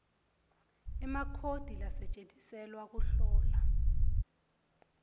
emakhodi lasetjentiselwa kuhlola